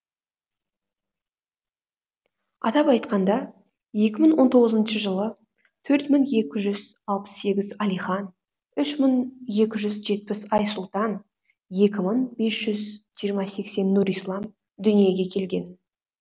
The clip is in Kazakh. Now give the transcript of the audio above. атап айтқанда екі мың он тоғызыншы жылы төрт мың екі жүз алпыс сегіз әлихан үш мың екі жүз жетпіс айсұлтан екі мың бес жүз жиырма сексен нұрислам дүниеге келген